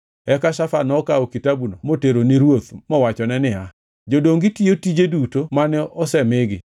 Eka Shafan nokawo kitabuno motere ni ruoth mowachone niya, “Jodongi tiyo tije duto mane osemigi.